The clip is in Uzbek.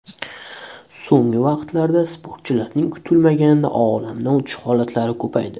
So‘nggi vaqtlarda sportchilarning kutilmaganda olamdan o‘tishi holatlari ko‘paydi.